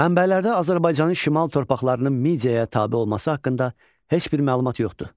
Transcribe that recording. Mənbələrdə Azərbaycanın şimal torpaqlarının Mediaya tabe olması haqqında heç bir məlumat yoxdur.